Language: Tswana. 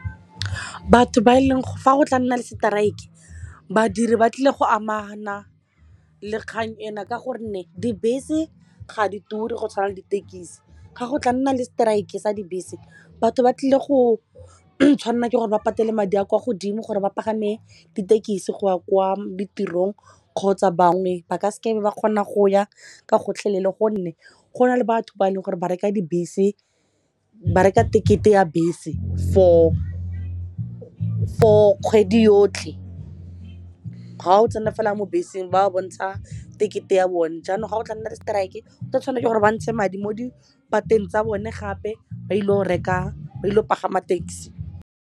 Fa go tla nna le strike badiri ba tlile go amana le kgang ena ka gonne dibese ga di ture go tshwana le ditekisi ga go tla nna le strike e sa dibese batho ba tlile go tshwanela ke gore ba patele madi a kwa godimo gore ba pagame ditekisi go ya kwa ditirong kgotsa bangwe ba ka se kae be ba kgona go ya ka gotlhelele gonne go na le batho ba e leng gore ba reka tekete ya bese for kgwedi yotlhe ga o tsena fela mo beseng ba bontsha tekete ya bone jaanong ga go tla nna le strike o ka tshwana ke gore ba ntshe madi mo dipateng tsa bone gape ba ilo go pagama taxi.